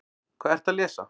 Hvað ertu að lesa?